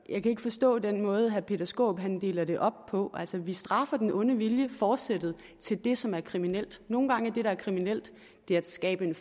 jeg kan ikke forstå den måde herre peter skaarup deler det op på altså vi straffer den onde vilje forsættet til det som er kriminelt nogle gange er det der er kriminelt det at skabe en